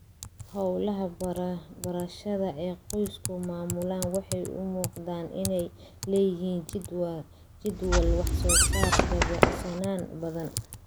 Hawlaha beerashada ee qoysku maamulaan waxay u muuqdaan inay leeyihiin jadwal wax-soo-saar dabacsanaan badan.